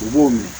U b'o min